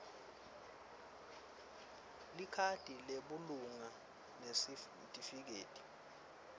likhadi lebulunga nesitifiketi